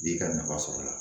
B'i ka nafa sɔrɔ la